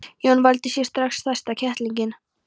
Jói valdi sér strax stærsta kettlinginn.